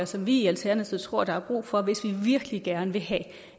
som vi i alternativet tror der er brug for hvis vi virkelig gerne vil have